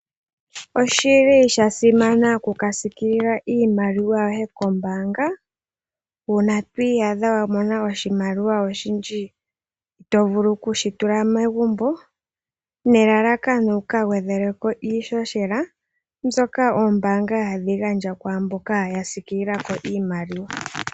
Osha simana okuka sikilila iimaliwa yoye kombaanga, uuna to iyadha wamona oshimaliwa oshindji itoovu okushi tula megumbo nelalakano wuka gwedheleko iihohela ndyoka oombaanga hadhii gandja gwaamboka yasiikilila ko iimaliwa.